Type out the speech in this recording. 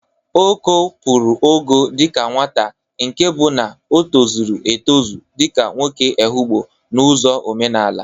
Oko pụrụ ogo dịka nwata nke bụ na o tozuru etụzụ dịka nwoke Ehụgbọ n'ụzọ omenala.